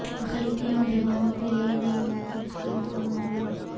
اقلیتی نوجوانوں کے لئے نئی منزل اسکیم کو منظوری